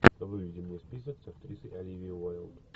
выведи мне список с актрисой оливией уайлд